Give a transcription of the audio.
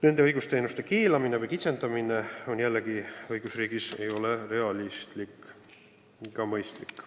Nende õigusteenuste keelamine või kitsendamine ei ole õigusriigis võimalik ega ka mõistlik.